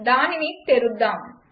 దానిని తెరుద్దాం